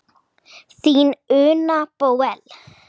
Þín Una Bóel.